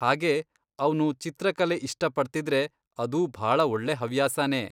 ಹಾಗೇ ಅವ್ನು ಚಿತ್ರಕಲೆ ಇಷ್ಟಪಡ್ತಿದ್ರೆ ಅದೂ ಭಾಳ ಒಳ್ಳೆ ಹವ್ಯಾಸನೇ.